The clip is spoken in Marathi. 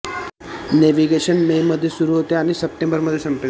नेव्हिगेशन मे मध्ये सुरु होते आणि सप्टेंबर मध्ये संपेल